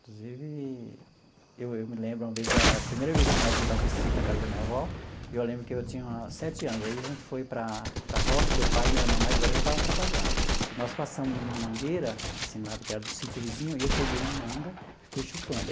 Inclusive, eu eu me lembro uma vez, a primeira vez que nós mudamos para esse sítio da casa da minha avó, eu lembro que eu tinha sete anos, aí a gente foi para para a roça, meu pai, minha irmã mais velha já estava trabalhando, e nós passamos numa mangueira, assim, que era do sítio vizinho, e eu peguei uma manga e fui chupando.